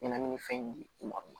Ɲɛnɛmini fɛn ɲima